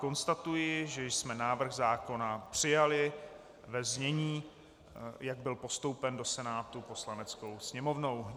Konstatuji, že jsme návrh zákona přijali ve znění, jak byl postoupen do Senátu Poslaneckou sněmovnou.